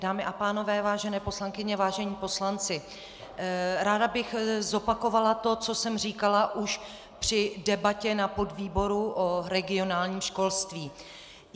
Dámy a pánové, vážené poslankyně, vážení poslanci, ráda bych zopakovala to, co jsem říkala už při debatě na podvýboru o regionálním školství.